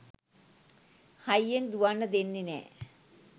හයියෙන් දුවන්න දෙන්නේ නෑ